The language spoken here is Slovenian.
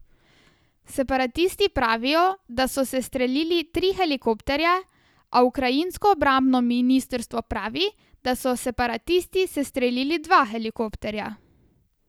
Separatisti pravijo, da so sestrelili tri helikopterje, a ukrajinsko obrambno ministrstvo pravi, da so separatisti sestrelili dva helikopterja.